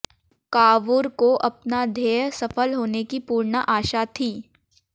Cavour को अपना ध्येय सफल होने की पूर्ण आशा थी